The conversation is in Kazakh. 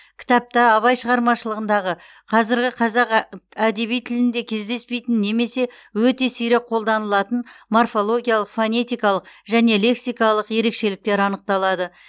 кітапта абай шығармаларындағы қазіргі қазақ ә әдеби тілінде кездеспейтін немесе өте сирек қолданылатын морфологиялық фонетикалық және лексикалық ерекшеліктер анықталады